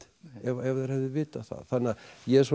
ef þeir hefðu vitað það þannig að ég er svona